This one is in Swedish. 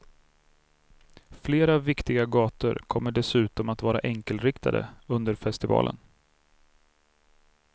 Flera viktiga gator kommer dessutom att vara enkelriktade under festivalen.